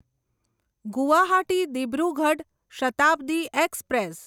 Guwahati Dibrugarh Shatabdi express